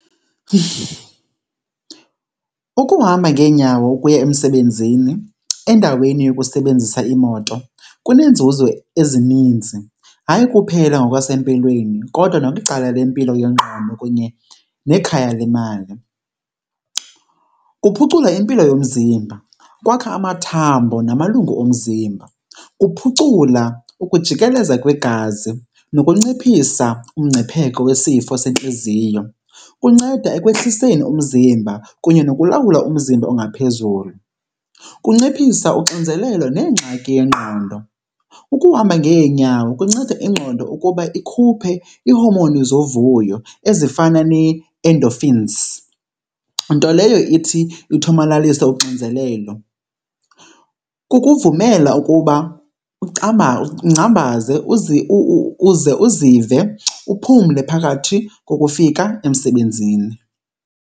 Ukuhamba ngeenyawo ukuya emsebenzini endaweni yokusebenzisa imoto kuneenzuzo ezininzi, hayi kuphela ngokwasempilweni kodwa nakwicala lempilo yengqondo kunye nekhaya lemali. Kuphucula impilo yomzimba, kwakha amathambo namalungu omzimba, kuphucula ukujikeleza kwegazi nokunciphisa umngcipheko wesifo sentliziyo, kunceda ekwehliseni umzimba kunye nokulawula umzimba ongaphezulu, kunciphisa uxinzelelo nengxaki yengqondo. Ukuhamba ngeenyawo kunceda ingqondo ukuba ikhuphe ii-hormone zovuyo ezifana nee-endorphins, nto leyo ithi ithomalalise uxinzelelo. Kukuvumela ukuba ungcambaze uze uzive uphumle phakathi kokufika emsebenzini.